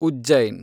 Ujjain